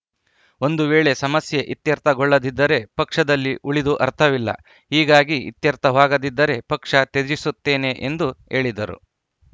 ಒಂದು ವೇಳೆ ಸಮಸ್ಯೆ ಇತ್ಯರ್ಥಗೊಳ್ಳದಿದ್ದರೆ ಪಕ್ಷದಲ್ಲಿ ಉಳಿದು ಅರ್ಥವಿಲ್ಲ ಹೀಗಾಗಿ ಇತ್ಯರ್ಥವಾಗದಿದ್ದರೆ ಪಕ್ಷ ತ್ಯಜಿಸುತ್ತೇನೆ ಎಂದು ಹೇಳಿದರು